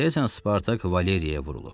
Deyəsən Spartak Valeriyə vurulub.